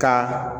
Ka